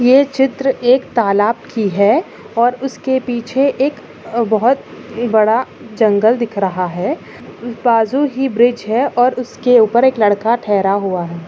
ये चित्र एक तालाब कि है और उसके पीछे एक बहुत बड़ा जंगल दिख रहा है बाजू ही ब्रिज है और उसके ऊपर लड़का ठहरा हुआ है।